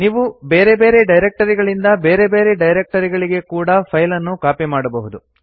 ನೀವು ಬೇರೆ ಬೇರೆ ಡೈರಕ್ಟರಿಗಳಿಂದ ಬೇರೆ ಬೇರೆ ಡೈರಕ್ಟರಿಗಳಿಗೆ ಕೂಡಾ ಫೈಲ್ ಅನ್ನು ಕಾಪಿ ಮಾಡಬಹುದು